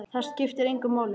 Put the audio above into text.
Það skiptir engu máli!